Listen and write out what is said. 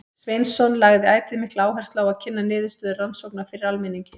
Sveinsson lagði ætíð mikla áherslu á að kynna niðurstöður rannsókna fyrir almenningi.